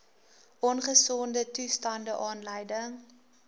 ongesonde toestande aanleiding